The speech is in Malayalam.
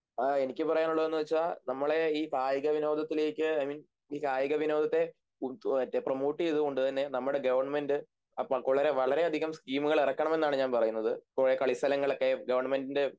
ആ എനിക്ക് പറയാനുള്ളതെന്നുവെച്ചാൽ നമ്മളെ ഈ കായികവിനോദത്തിലേക്ക് ഐമീൻ ഇ കായികവിനോദത്തെ പ്രേമോട്ടുചെയ്തുകൊണ്ടുതന്നെ നമ്മുടെ ഗവൺമെൻറ് വളരെയധികം സ്കീമുകളിറക്കണമെന്നാണ് ഞാൻ പറയുന്നത് കുറെ കളിസ്ഥലങ്ങളൊക്കെ ഗവൺമെൻ്റിൻ്റെ